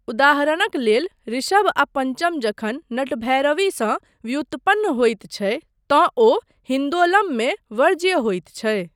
उदाहरणक लेल, ऋषभ आ पंचम जखन नटभैरवीसँ व्युत्पन्न होइत छै तँ ओ हिन्दोलममे 'वर्ज्य' होइत छै।